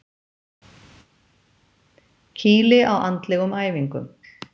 Kýli á andlegum æfingum.